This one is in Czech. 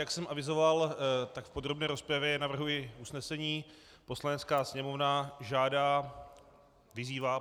Jak jsem avizoval, tak v podrobné rozpravě navrhuji usnesení: Poslanecká sněmovna žádá - vyzývá.